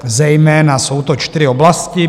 zejména jsou to čtyři oblasti.